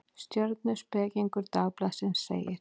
Stjörnuspekingur Dagblaðsins segir: